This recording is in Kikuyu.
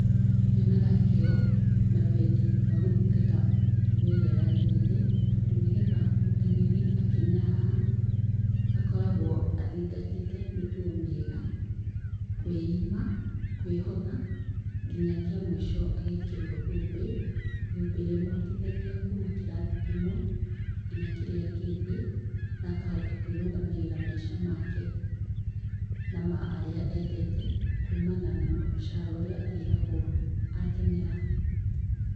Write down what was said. Nyonaga kĩo, na wendi wa gũthingata mĩtugo ĩria yagĩrĩire tondũ nĩgetha mũtengeri akinye haha, akoragwo athingatĩtee mĩtugo mĩega, kwĩima, kwĩhotha, nginya kia mũisho agekĩrwo thũmbĩ, thũmbi ĩrĩa ĩmũhotithagia kuma kĩrathi kĩmwe nginya kĩrĩa kĩngi na akahota kwĩrũgamĩrĩra maica make na ma arĩa endete, kumana na mũcara ũrĩa arĩhagwo atengera.